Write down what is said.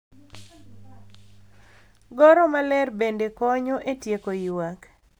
Goro maler bende konyo e tieko ywak .